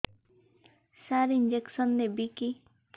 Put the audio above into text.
ସାର injection ନେବିକି